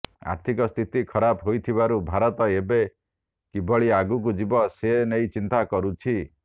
ଆର୍ଥିକ ସ୍ଥିତି ଖରାପ ହୋଇଥିବାରୁ ଭାରତ ଏବେ କିଭଳି ଆଗକୁ ଯିବ ସେ ନେଇ ଚିନ୍ତା କରୁଛି